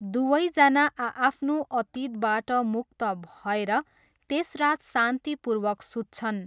दुवैजना आआफ्नो अतीतबाट मुक्त भएर त्यस रात शान्तिपूर्वक सुत्छन्।